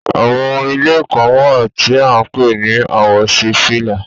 Àwọn ìlẹ̀ kan wa tí à ǹ pẹ̀ ni àwòsífílà.